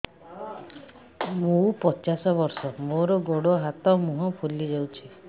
ମୁ ପଚାଶ ବର୍ଷ ମୋର ଗୋଡ ହାତ ମୁହଁ ଫୁଲି ଯାଉଛି